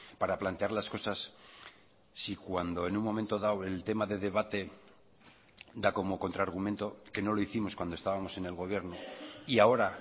para plantear las cosas si cuando en un momento dado el tema de debate da como contrargumento que no lo hicimos cuando estábamos en el gobierno y ahora